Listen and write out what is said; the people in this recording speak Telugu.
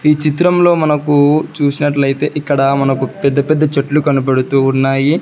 ఈ చిత్రంలో మనకు చూసినట్లయితే ఇక్కడ మనకు పెద్ద పెద్ద చెట్లు కనపడుతూ ఉన్నాయి.